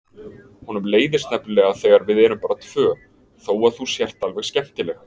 Honum leiðist nefnilega þegar við erum bara tvö:. þó að þú sért alveg skemmtileg!